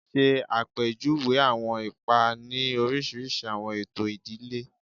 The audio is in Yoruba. Ṣe apejuwe awọn ipa ni oriṣiriṣi awọn eto idile